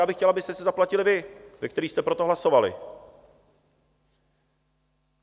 Já bych chtěl, abyste si ji zaplatili vy, kteří jste pro to hlasovali.